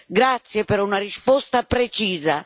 Grazie per una risposta precisa.